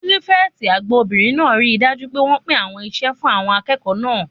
Pírífẹ̀tì àgbà obìnrin náà ríi dájú pé wọ́n pín àwọn iṣẹ́ fún àwọn akẹ́kọ̀ọ́ náà